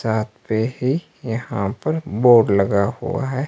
छत पे ही यहां पर बोर्ड लगा हुआ है।